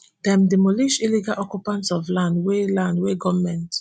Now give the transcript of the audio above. dem demolish illegal occupant of land wey land wey goment